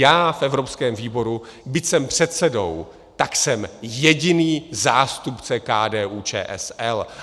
Já v evropském výboru, byť jsem předsedou, tak jsem jediný zástupce KDU-ČSL.